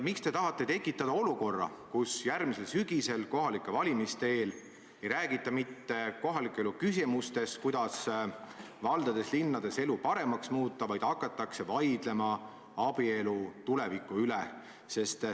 Miks te tahate tekitada olukorra, kus järgmisel sügisel kohalike valimiste eel ei räägita mitte kohaliku elu küsimustest, sellest, kuidas valdades-linnades elu paremaks muuta, vaid hakatakse vaidlema abielu tuleviku üle?